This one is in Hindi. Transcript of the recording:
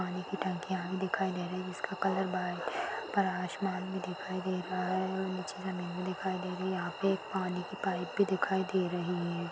पानी की टंकिया भी दिखाई दे रही है जिसका कलर पर आसमान भी दिखाई दे रहा है और नीचे ज़मीन दिखाई दे रही है यहाँ पे एक पानी की पाइप भी दिखाई दे रही है।